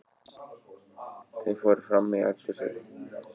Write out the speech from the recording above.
Þau fóru frammí eldhúsið.